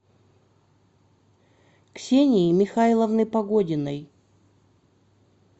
ксении михайловны погодиной